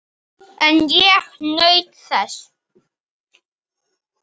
En ég naut þess.